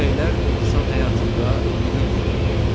Küləklər insan həyatında mühüm rol oynayır.